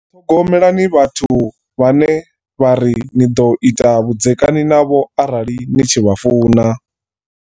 Ṱhogomelani vhathu vhane vha ri ni ḓo ita vhudzekani navho arali ni tshi vha funa.